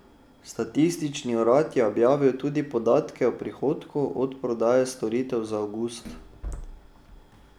Statistični urad je objavil tudi podatke o prihodku od prodaje storitev za avgust.